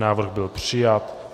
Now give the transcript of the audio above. Návrh byl přijat.